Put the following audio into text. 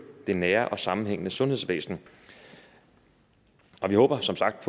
det nære og sammenhængende sundhedsvæsen vi håber som sagt